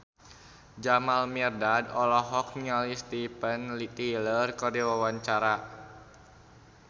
Jamal Mirdad olohok ningali Steven Tyler keur diwawancara